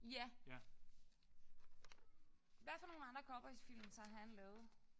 Ja. Hvad for nogle andre cowboysfilm har han lavet?